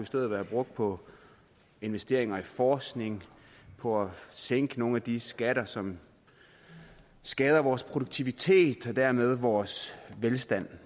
stedet være brugt på investeringer i forskning på at sænke nogle af de skatter som skader vores produktivitet og dermed vores velstand